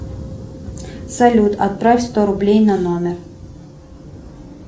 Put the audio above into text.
салют отправь сто рублей на номер